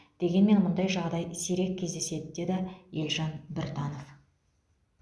дегенмен мұндай жағдай сирек кездеседі деді елжан біртанов